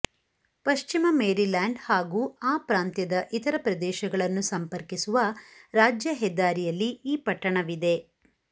ಪಶ್ಚಿಮ ಮೇರಿಲ್ಯಾಂಡ್ ಹಾಗೂ ಆ ಪ್ರಾಂತ್ಯದ ಇತರ ಪ್ರದೇಶಗಳನ್ನು ಸಂಪರ್ಕಿಸುವ ರಾಜ್ಯ ಹೆದ್ದಾರಿಯಲ್ಲಿ ಈ ಪಟ್ಟಣವಿದೆ